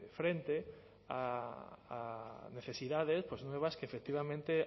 frente a necesidades pues nuevas que efectivamente